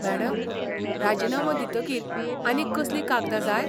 Madam, राजिनामो दितकीर आनीक कसलीं कागदां जाय?